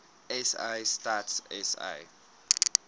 sa stats sa